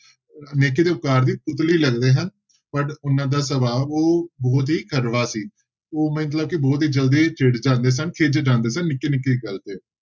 ਨੇਕੀ ਤੇ ਉਪਕਾਰ ਦੀ ਪੁਤਲੀ ਲੱਗਦੇ ਹਨ but ਉਹਨਾਂ ਦਾ ਸੁਭਾਵ ਉਹ ਬਹੁਤ ਹੀ ਕੜਵਾ ਸੀ ਉਹ ਮਤਲਬ ਕਿ ਬਹੁਤ ਹੀ ਜ਼ਲਦੀ ਚਿੜ ਜਾਂਦੇ ਸਨ ਖਿਝ ਜਾਂਦੇ ਸਨ ਨਿੱਕੀ ਨਿੱਕੀ ਗੱਲ ਤੇ।